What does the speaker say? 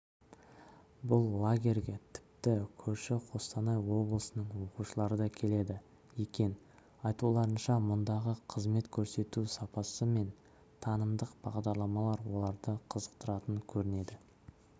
бұл лагерьге тіпті көрші қостанай облысының оқушылары да келеді екен айтуларынша мұндағы қызмет көрсету сапасы мен танымдық бағдарламалар оларды қызықтыратын көрінеді